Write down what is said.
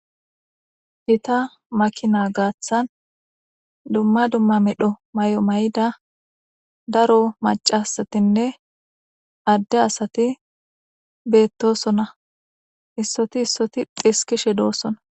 Gitta makinaa gaaththan dumma dumma medho may7o may7ida daro macasatinne adde asati beettosona issoti issoti diskishe doosona.